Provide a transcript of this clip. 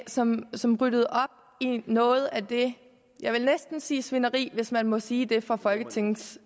som som ryddede op i noget af det jeg vil næsten sige svineri hvis man må sige det fra folketingets